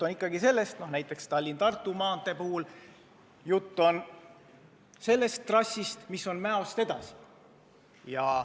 Näiteks Tallinna–Tartu maantee puhul on jutt sellest trassist, mis ulatub Mäost edasi.